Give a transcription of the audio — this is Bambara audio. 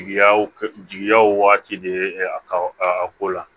Jigiyaw jigiyaw waati de ye a ko la